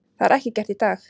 Það er ekki gert í dag.